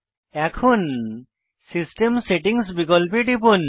এখন system settings বিকল্পে টিপুন